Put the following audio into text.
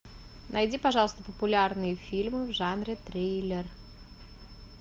найди пожалуйста популярные фильмы в жанре триллер